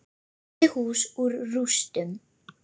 Reisti hús úr rústum.